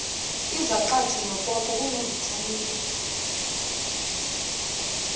izaqathe nopopo kunovithamini